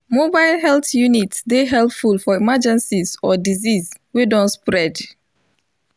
mobile health units dey helpful for emergencies or disease wey don spread